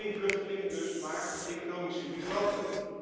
Geen vluchtelingen dus, maar economische migranten.